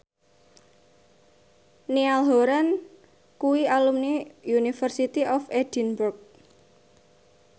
Niall Horran kuwi alumni University of Edinburgh